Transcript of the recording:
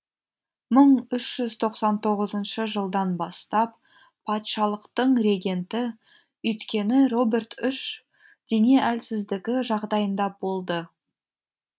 мың үш жүз тоқсан тоғызыншы жылдан бастап патшалықтың регенті өйткені роберт үш дене әлсіздігі жағдайында болды